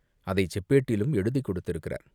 அதைச் செப்பேட்டிலும் எழுதிக் கொடுத்திருக்கிறார்.